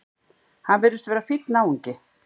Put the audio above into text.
Hann virðist vera fínn náungi!